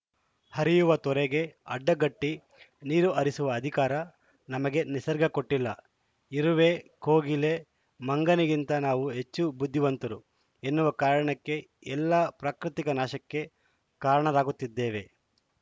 ಹರಿಯುವ ತೊರೆಗೆ ಅಡ್ಡಗಟ್ಟಿನೀರು ಹರಿಸುವ ಅಧಿಕಾರ ನಮಗೆ ನಿಸರ್ಗ ಕೊಟ್ಟಿಲ್ಲ ಇರುವೆ ಕೋಗಿಲೆ ಮಂಗನಿಗಿಂತ ನಾವು ಹೆಚ್ಚು ಬುದ್ಧಿವಂತರು ಎನ್ನುವ ಕಾರಣಕ್ಕೆ ಎಲ್ಲ ಪ್ರಾಕೃತಿಕ ನಾಶಕ್ಕೆ ಕಾರಣರಾಗುತ್ತಿದ್ದೇವೆ